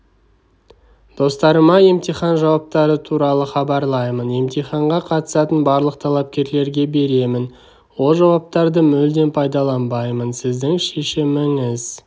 достарыма емтихан жауаптары туралы хабарлаймын емтиханға қатысатын барлық талапкерлерге беремін ол жауаптарды мүлдем пайдаланбаймын сіздің шешіміңіз